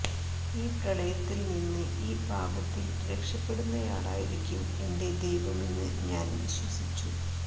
ഈ പ്രളയത്തിൽ നിന്ന് ഈ പാപത്തിൽ രക്ഷപ്പെടുന്നയാളായിരിക്കും എന്റെ ദൈവമെന്ന് ഞാൻ വിശ്വസിച്ചു